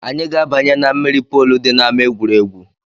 Anyị ga-abanye na mmiri polu dị n’ama egwuregwu